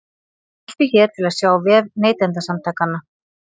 Smelltu hér til að sjá vef Neytendasamtakanna